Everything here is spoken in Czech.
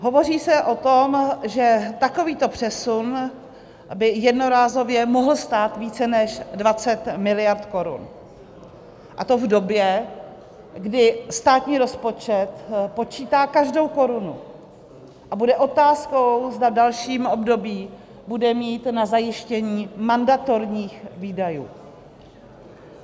Hovoří se o tom, že takovýto přesun by jednorázově mohl stát více než 20 miliard korun, a to v době, kdy státní rozpočet počítá každou korunu a bude otázkou, zda v dalším období bude mít na zajištění mandatorních výdajů.